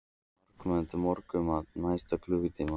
Það var mannmargt í morgunmatnum næsta klukkutímann.